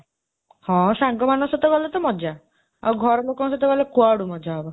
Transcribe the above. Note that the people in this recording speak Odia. ହଁ, ସାଙ୍ଗ ମାନଙ୍କ ସହିତ ଗଲେ ତ ମଜ୍ଜା; ଆଉ ଘରଲୋକଙ୍କ ସହିତ ଗଲେ କୁଆଡ଼ୁ ମଜ୍ଜା ହେବ?